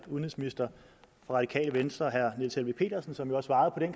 udenrigsminister fra radikale venstre herre niels helveg petersen som jo har svaret herre